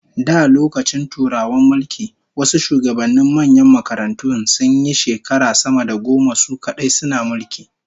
Da lokacin Turawan mulki, wasu shugabannin manyan makarantun sunyi shekara sama da goma su kadai suna mulki